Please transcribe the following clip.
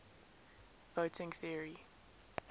voting theory